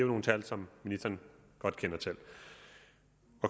nogle tal som ministeren godt kender til